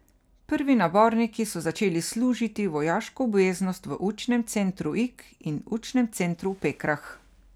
Prvi naborniki so začeli služiti vojaško obveznost v učnem centru Ig in učnem centru v Pekrah.